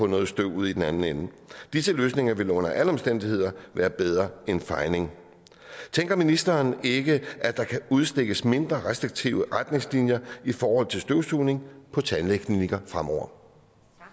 noget støv ud i den anden ende disse løsninger vil under alle omstændigheder være bedre end fejning tænker ministeren ikke at der kan udstikkes mindre restriktive retningslinjer i forhold til støvsugning på tandklinikker fremover